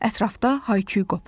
Ətrafda hay-küy qopdu.